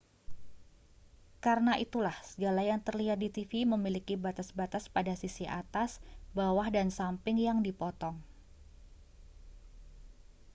karena itulah segala yang terlihat di tv memiliki batas-batas pada sisi atas bawah dan samping yang dipotong